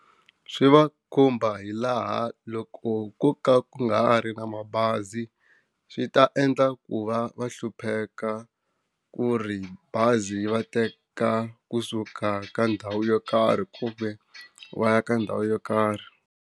Swi va khumba hi laha loko ko ka ku nga ha ri na mabazi, swi ta endla ku va va hlupheka ku ri bazi yi va teka kusuka ka ndhawu yo karhi ku ve va ya ka ndhawu yo karhi.